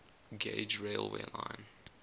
gauge railway line